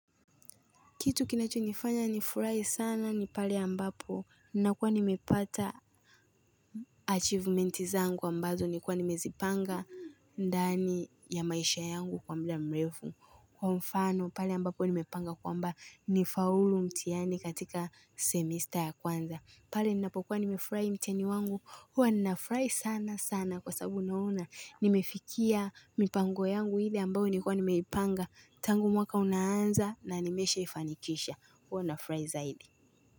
Kitu kinacho nifanya nifurahi sana ni pale ambapo ninakuwa nimepata achievementi zangu ambazo nilikuwa nimezipanga ndani ya maisha yangu kwa muda mrefu. Kwa mfano pale ambapo nimepanga kwamba nifaulu mtihani katika semesta ya kwanza. Pale ninapokuwa nimefurahi mtihani wangu huwa ninafurahi sana sana kwa sababu naona. Nimefikia mipango yangu hile ambayo nilikuwa nimeipanga tangu mwaka unaanza na nimesha ifanikisha. Huwa nafurahi zaidi.